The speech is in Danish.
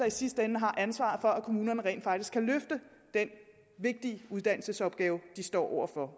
i sidste ende har ansvaret for at kommunerne rent faktisk kan løfte den vigtige uddannelsesopgave de står over for